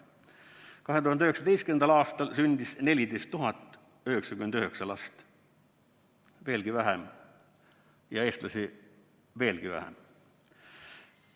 2019. aastal sündis 14 099 last – veelgi vähem ja eestlasi veelgi vähem.